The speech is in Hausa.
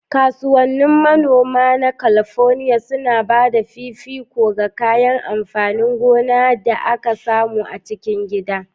Kasuwannin manoman Kalifornia suna ba da fifiko ga kayan amfanin gona da ake samu a cikin gida.